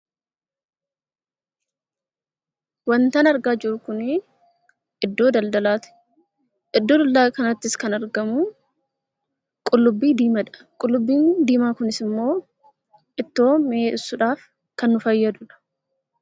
Wantin argaa jiru kun iddoo daldalaati. Iddoo daldalaa kanattis kan argamu qullubbii diimaadha. Qullubbii diimaan kunis immoo ittoo mi'eessuudhaaf kan nu fayyadudha.